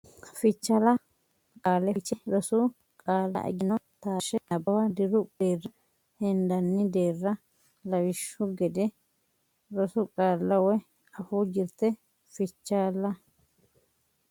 Fichaalla Qaale Fiche Rosu qaalla egenno Taashshe Nabbawa Diru deerra hendanni deerra lawishshu gede rosu qaalla woy afuu jirte Fichaalla.